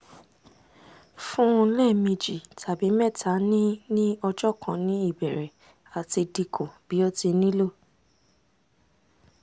fun un lẹmeji tabi mẹta ni ni ọjọ kan ni ibẹrẹ ati dinku bi o ti nilo